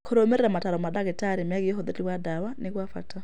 Kũrũmĩrĩra mataaro ma ndagĩtarĩ megiĩ ũhũthĩri wa ndawa nĩ kwa bata.